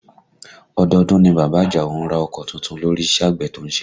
Ọdọọdún ni bàbá Àjàó ń ra ọkọ tuntun lórí iṣẹ́ àgbẹ̀ tó ń ṣe